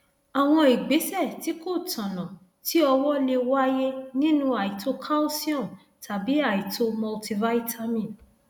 àwọn ìgbésẹ tí kò tọnà ti ọwọ lè wáyé nínú àìtó calsium tàbí àìtó multivitamin